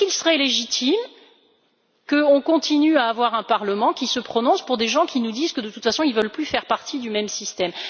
Serait il légitime de continuer à avoir un Parlement qui se prononce pour des gens qui nous disent que de toute façon, ils ne veulent plus faire partie du même système?